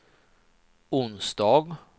onsdag